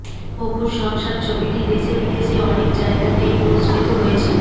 অপুর সংসার ছবিটি দেশে বিদেশে অনেক জায়গাতেই পুরস্কৃত হয়েছিল